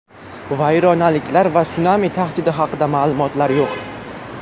Vayronaliklar va sunami tahdidi haqida ma’lumot yo‘q.